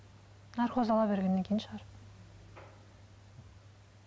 наркоз ала бергеннен кейін шығар